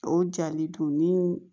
O jali dun ni